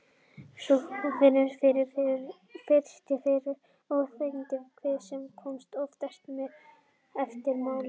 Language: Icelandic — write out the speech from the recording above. Sjúklingurinn finnur fyrst fyrir óþægindum í kviðarholi, sem koma oftast eftir máltíð.